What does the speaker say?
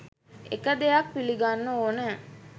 එක දෙයක් පිළිගන්න ඕන